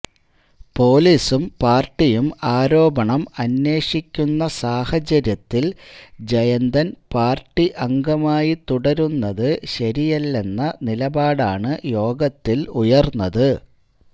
പൊലിസും പാര്ട്ടിയും ആരോപണം അന്വേഷിക്കുന്ന സാഹചര്യത്തില് ജയന്തന് പാര്ട്ടി അംഗമായി തുടരുന്നത് ശരിയല്ളെന്ന നിലപാടാണ് യോഗത്തില് ഉയര്ന്നത്